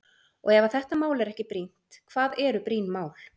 Og ef að þetta mál er ekki brýnt, hvað eru brýn mál?